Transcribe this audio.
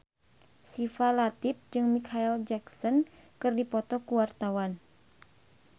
Syifa Latief jeung Micheal Jackson keur dipoto ku wartawan